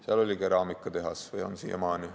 Seal oli keraamikatehas ja see on seal siiamaani.